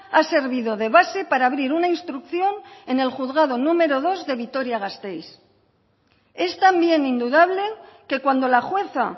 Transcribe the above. ha servido de base para abrir una instrucción en el juzgado número dos de vitoria gasteiz es también indudable que cuando la jueza